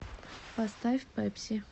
поставь пепси